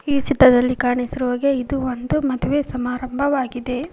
ಈ ಚಿತ್ರದಲ್ಲಿ ಕಾಣಿಸಿರುವ ಹಾಗೆ ಇದು ಒಂದು ಮದುವೆ ಸಮಾರಂಭವಾಗಿದೆ.